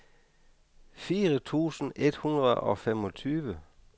fire tusind et hundrede og femogtyve